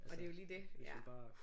Og det er jo lige det ja